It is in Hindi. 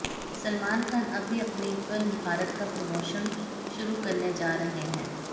सलमान खान अभी अपनी फिल्म भारत का प्रमोशन्स शुरू करने जा रहे हैं